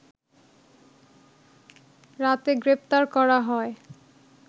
রাতে গ্রেপ্তার করা হয়